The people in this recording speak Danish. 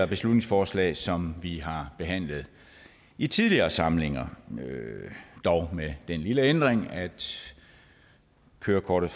beslutningsforslag som vi har behandlet i tidligere samlinger dog med den lille ændring at kørekortet